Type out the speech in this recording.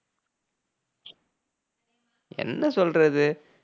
என்ன சொல்றது